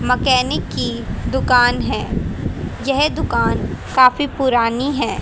Mechanic की दुकान है यह दुकान काफी पुरानी है।